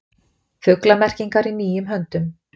Fuglamerkingar í nýjum höndum